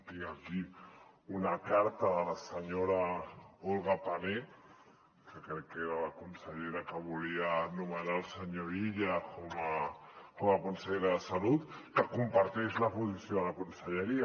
tinc aquí una carta de la senyora olga pané que crec que era la consellera que volia nomenar el senyor illa com a consellera de salut que comparteix la posició de la conselleria